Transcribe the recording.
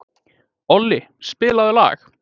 Olli, spilaðu lag.